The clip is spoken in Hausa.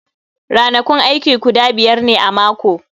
Ranakun aiki guda biyar ne a mako